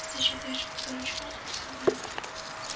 ты считаешь его дурачком спросил брент